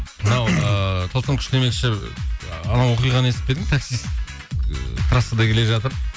мынау ыыы тылсым күш демекші анау оқиғаны естіп пе едің такист трассада келе жатып